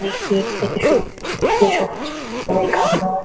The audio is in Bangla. নে কেক থেকে শুরু করে। সব খাওয়া দাওয়া ।